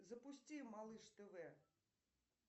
запусти малыш тв